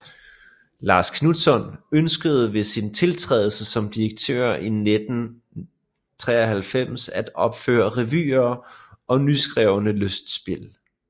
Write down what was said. Lars Knutzon ønskede ved sin tiltrædelse som direktør i 1993 at opføre revyer og nyskrevne lystspil